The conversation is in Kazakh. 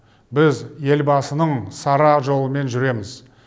біз елбасының сара жолымен жүреміз